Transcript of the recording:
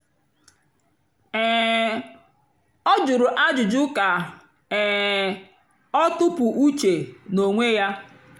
um ọ́ jụ̀rụ̀ ájụ́jụ́ kà um ọ́ tụ́pú úche n'ónwé yá.